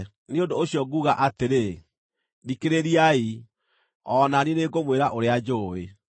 “Nĩ ũndũ ũcio nguuga atĩrĩ, ‘Thikĩrĩriai; o na niĩ nĩngũmwĩra ũrĩa njũũĩ.’